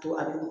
To a bɛ